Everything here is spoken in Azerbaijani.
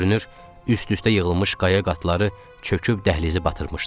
Görünür, üst-üstə yığılmış qaya qatları çöküb dəhlizi batırmışdı.